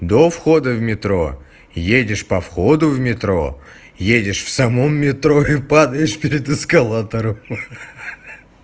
до входа в метро едешь по входу в метро едешь в самом метро и падаешь перед эскалатором ха-ха